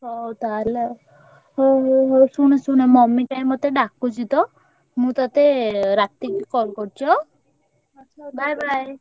ହଉ ତାହେଲେ ଆଉ ହଉ ହଉ ହଉ ଶୁଣୁ ଶୁଣୁହେ mummy କାଇଁ ମତେ ~ଡ଼ା ~କୁଚି ତ ମୁଁ ତତେ ରାତିକି call କରୁଚି ଆଁ bye bye ।